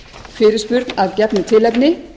fyrirspurn að gefnu tilefni